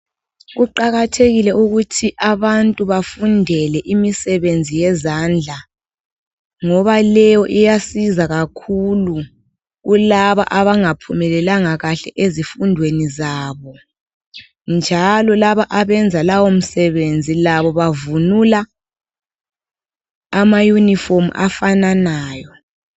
Kuqakathekile ukuthi abantu bafundele imisebenzi yezandla ,ngoba leyo iyasiza kakhulu kulaba abangaphumelelanga kahle ezifundweni zabo. Njalo laba abenza lawo msebenzi labo bavunula ama uniform afananayo.